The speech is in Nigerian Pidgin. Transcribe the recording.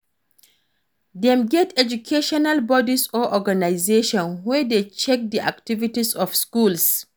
Dem get educational bodies or organization wey de check the activities of schools